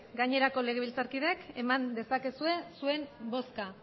gainerako legebiltzarkideek eman dezakezue zuen bozka